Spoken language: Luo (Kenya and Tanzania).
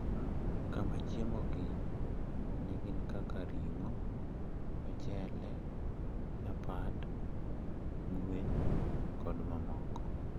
Kama chiemogi ne gin kaka ring`o, ochele, chapat, gwen kod mamoko.